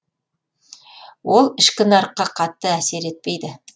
ол ішкі нарыққа қатты әсер етпейді